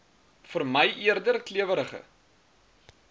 vermy eerder klewerige